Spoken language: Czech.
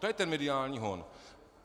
To je ten mediální hon.